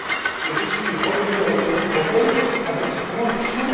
Et je suis revenu à la Commission européenne avec cette conviction.